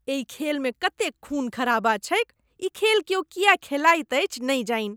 एहि खेलमे कतेक खून खराबा छैक। ई खेल क्यौ किएक खेलाइत अछि, नहि जानि?